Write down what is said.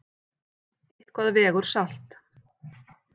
Eitthvað vegur salt